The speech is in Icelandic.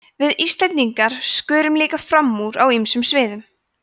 við íslendingar skörum líka fram úr á ýmsum sviðum